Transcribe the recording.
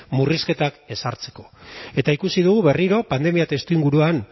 murrizketak ezartzeko eta ikusi dut berriro pandemia testuinguruan